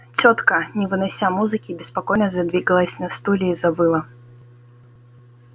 тётка не вынося музыки беспокойно задвигалась на стуле и завыла